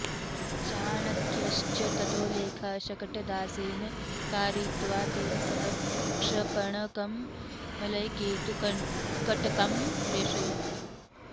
चाणक्यश्च ततो लेख शकटदासेन कारयित्वा तेन सह क्षपणकं मलयकेतुकटकं प्रेषयति